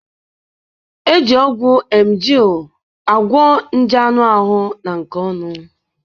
Eji ọgwụ emgyl agwo nje anụ ahụ na nke ọnụ